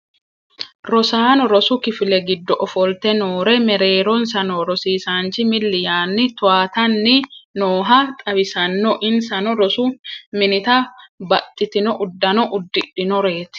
rosaano rosu kifile giddo ofolte noore mereeronsa noo rosiisaanchi milli yaanni toyaatanni nooha xawissanno insano rosu minita baxxitino uddano uddidhinoreeti